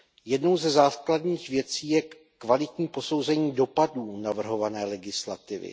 Jednou ze základních věcí je kvalitní posouzení dopadů navrhované legislativy.